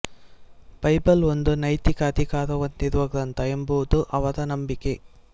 Bible ಒಂದು ನೈತಿಕ ಅಧಿಕಾರ ಹೊಂದಿರುವ ಗ್ರಂಥ ಎಂಬುದು ಅವರ ನಂಬಿಕೆ